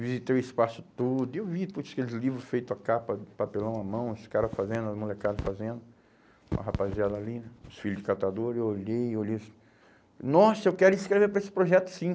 Visitei o espaço todo e eu vi, putz, aqueles livro feitos a capa, papelão à mão, os cara fazendo, as molecada fazendo, uma rapaziada ali, os filho de catador, eu olhei, olhei, nossa, eu quero escrever para esse projeto sim.